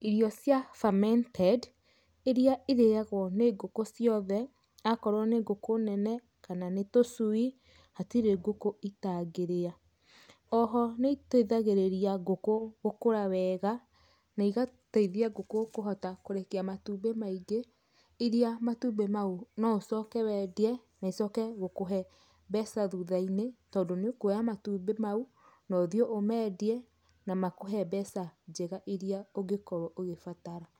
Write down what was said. Irio cia fermneted iria irĩyagwo nĩ ngũkũ ciothe akorwo nĩ ngũkũ nene kana nĩ tũcui, hatirĩ ngũkũ itangĩrĩa. Oho nĩ iteithagĩrĩria ngũkũ gũkũra wega na igateithia ngũkũ kũhota kũrekia matumbĩ maingĩ iria matumbĩ mau no ũcoke wendie na ucoke akũhe mbeca thutha-inĩ tondũ nĩ ũkuoya matumbĩ mau ũthie ũmendie na makũhe mbeca njega iria ũgĩkorwo ũgĩbatara.